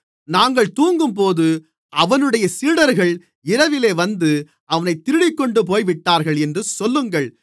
நாங்கள் தூங்கும்போது அவனுடைய சீடர்கள் இரவிலே வந்து அவனைத் திருடிக்கொண்டு போய்விட்டார்கள் என்று சொல்லுங்கள்